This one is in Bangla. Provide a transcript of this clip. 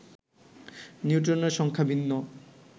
নিউট্রনের সংখ্যা ভিন্ন